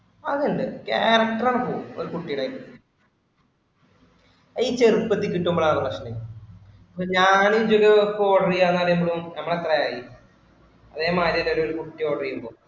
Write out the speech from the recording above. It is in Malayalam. അതല്ലേ character ആണ് ഇപ്പൊ ഒരു കുട്ടിടെ. ഈ ചെറുപ്പത്തി കിട്ടുമ്പോഴാണ് പ്രശ്‍നം. ഞാൻ ഇജ്ജ് ഒരു order ചെയ്യാം എന്ന് പറഞ്ഞപ്പഴും നമ്മൾ എത്രയായി. അതെ മാതിരി തന്നെ ഒരു കുട്ടി order ചെയ്യുമ്പോ